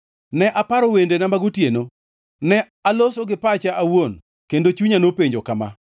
ne aparo wendena mag otieno. Ne aloso gi pacha awuon, kendo chunya nopenjo kama: